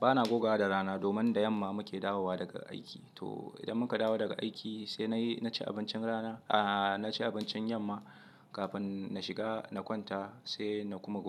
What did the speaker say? bana goga da rana domin da yamma muke dawowa daga aiki. To idan mun kadawo daga aiki sai na ci abincin rana, a'a na ci abincin yamma kafin na shiga na kwanta sai na kuma goga.